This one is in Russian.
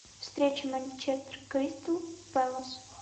встреча манчестер кристал пэлас